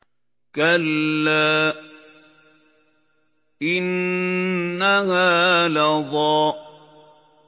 كَلَّا ۖ إِنَّهَا لَظَىٰ